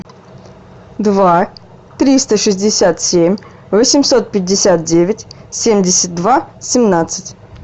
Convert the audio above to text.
два триста шестьдесят семь восемьсот пятьдесят девять семьдесят два семнадцать